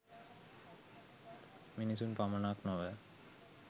මිනිසුන් පමණක් නොව